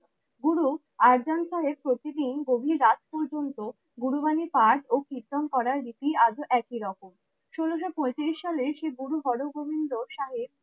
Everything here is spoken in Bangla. গুরু অর্জন সাহেব প্রতিদিন গভীর রাত পর্যন্ত গুরুবাণী পাঠ ও কীর্তন করার রীতি আজও একই রকম। ষোলো শো পঁয়ত্রিশ সালে শ্রী গুরু হরগোবিন্দ সাহেব